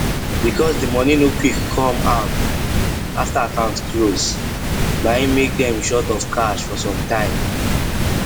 because the money no quick come out after account close na hin make dem short of cash for some time